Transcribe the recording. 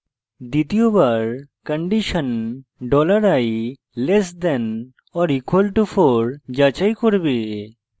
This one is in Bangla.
দ্বিতীয়বার condition $i less than or equal to 4 যাচাই করবে